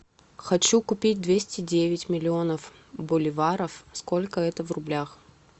хочу купить двести девять миллионов боливаров сколько это в рублях